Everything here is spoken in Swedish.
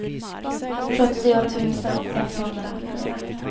sjuttio tusen etthundrafyra